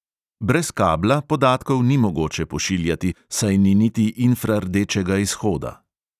Brez kabla podatkov ni mogoče pošiljati, saj ni niti infrardečega izhoda.